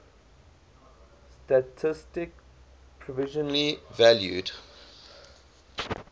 statistik provisionally valued